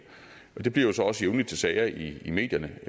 det bliver jo så også jævnligt til sager i medierne